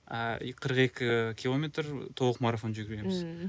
а и қырық екі километр толық марафон жүгіреміз ммм